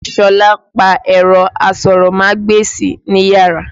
Sọlá pa ẹ̀rọ asọ̀rọ̀mágbèsì níyàrá.